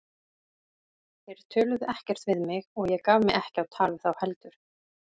Þeir töluðu ekkert við mig og ég gaf mig ekki á tal við þá heldur.